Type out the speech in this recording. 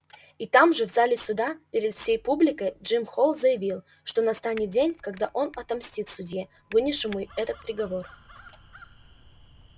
и там же в зале суда перед всей публикой джим холл заявил что настанет день когда он отомстит судье вынесшему этот приговор